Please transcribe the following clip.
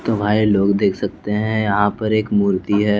तो भाई लोग देख सकते हैं यहाँ पर एक मूर्ति है।